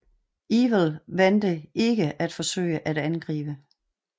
Ewell valgte ikke at forsøge at angribe